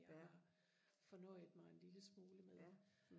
jeg fornøjede mig en lille smule med